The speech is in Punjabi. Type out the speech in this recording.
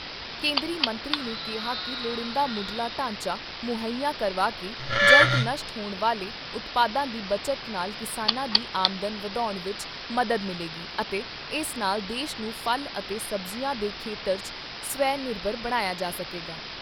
ਕੇਂਦਰੀ ਮੰਤਰੀ ਨੇ ਕਿਹਾ ਕਿ ਲੋੜੀਂਦਾ ਮੁੱਢਲਾ ਢਾਂਚਾ ਮੁੱਹਈਆ ਕਰਵਾ ਕੇ ਜਲਦ ਨਸ਼ਟ ਹੋਣ ਵਾਲੇ ਉਤਪਾਦਾਂ ਦੀ ਬਚਤ ਨਾਲ ਕਿਸਾਨਾਂ ਦੀ ਆਮਦਨ ਵਧਾਉਣ ਵਿਚ ਮਦਦ ਮਿਲੇਗੀ ਅਤੇ ਇਸ ਨਾਲ ਦੇਸ਼ ਨੂੰ ਫਲ ਅਤੇ ਸਬਜ਼ੀਆਂ ਦੇ ਖੇਤਰ 'ਚ ਸਵੈ ਨਿਰਭਰ ਬਣਾਇਆ ਜਾ ਸਕੇਗਾ।